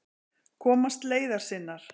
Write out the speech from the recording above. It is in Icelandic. Komast leiðar sinnar.